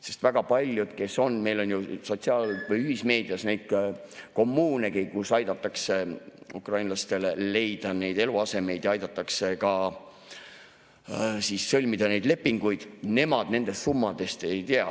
Sest meil on ju sotsiaal- või ühismeedias väga palju neid kommuunegi, kus aidatakse ukrainlastel leida eluasemeid ja aidatakse ka sõlmida lepinguid – nemad nendest summadest ei tea.